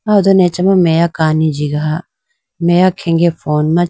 ah ho done acha ma meya kani jigaha meya khenge phone ma.